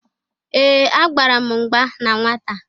Ee! Agbara m mgba na nwata.